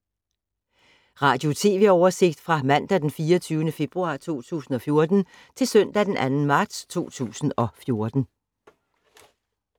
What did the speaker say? Radio/TV oversigt fra mandag d. 24. februar 2014 til søndag d. 2. marts 2014